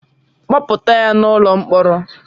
Kpọpụta ya n'ụlọ mkpọrọ!